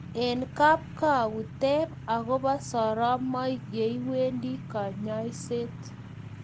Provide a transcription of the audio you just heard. Eng kapkwaut teeeb agobaa soromaik yeiwendee kanyaishet